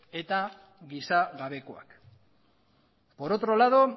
eta gizagabekoak por otro lado